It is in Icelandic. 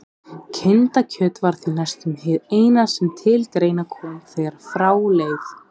Kindakjöt var því næstum hið eina sem til greina kom þegar frá leið.